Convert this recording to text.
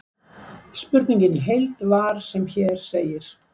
Spurningin í heild var sem hér segir: